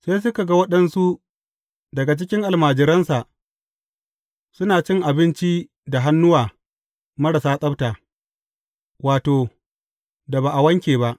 Sai suka ga waɗansu daga cikin almajiransa suna cin abinci da hannuwa marasa tsabta, wato, da ba a wanke ba.